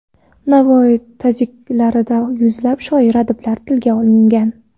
Navoiy tazkiralarida yuzlab shoir, adiblar tilga olingan.